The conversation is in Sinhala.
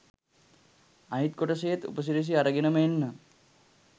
අනිත් කොටසේත් උපසිරසි අරගෙනම එන්නම්